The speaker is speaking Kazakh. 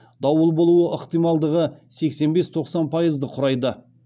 дауыл болу ықтималдығы сексен бес тоқсан пайызды құрайды